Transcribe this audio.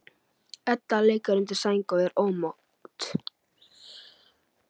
Edda liggur undir sæng og er ómótt.